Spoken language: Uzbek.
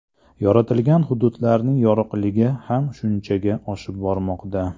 Yoritilgan hududlarning yorug‘ligi ham shunchaga oshib bormoqda.